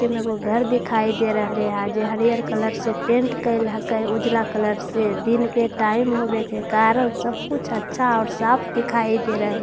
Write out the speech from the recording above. किम वो घर दिखाई दे रह लिया है जो हरि हर कलर से पेंट करिहा का ऊजला कलर से दिन के टाइम होवे के कारन से सब कुछ साफ और अच्‍छा दिखाई दे रह लिया है --